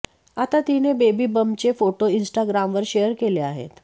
आता तिने बेबी बंपचे फोटो इन्स्टाग्रामवर शेअर केले आहेत